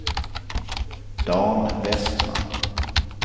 Dan Westman